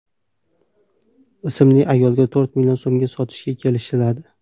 ismli ayolga to‘rt million so‘mga sotishga kelishadi.